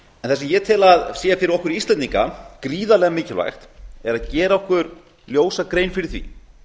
sem ég tel að sé fyrir okkur íslendinga gríðarlega mikilvægt er að gera okkur ljósa grein fyrir því